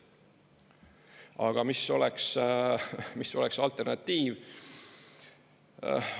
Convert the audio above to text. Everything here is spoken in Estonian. Aga mis oleks alternatiiv?